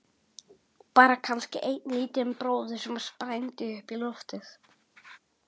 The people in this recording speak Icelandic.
Bara kannski einn lítinn bróður sem sprændi upp í loftið.